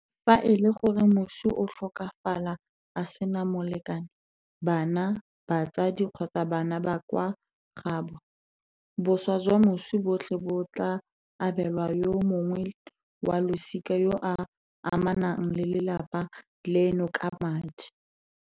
Fa e le gore moswi o tlhokafala a sena molekane, bana, batsadi kgotsa bana ba kwa gaabo, boswa jwa moswi botlhe bo tla abelwa yo mongwe wa losika yo a amanang le lelapa leno ka madi.